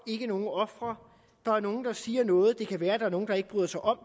nogen ofre der er nogen der siger noget og det kan være at der er nogen der ikke bryder sig om